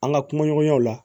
An ka kumaɲɔgɔnyaw la